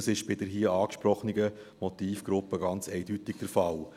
Das ist bei der hier angesprochenen Motivgruppe ganz eindeutig der Fall.